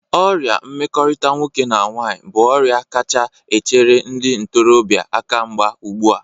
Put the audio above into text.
Ọrịa mmekọrịta nwoke na nwaanyị bụ ọrịa kacha echere ndị ntorọbịa akamgba ụgbụ a.